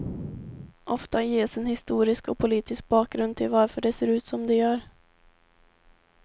Ofta ges en historisk och politisk bakgrund till varför det ser ut som det gör.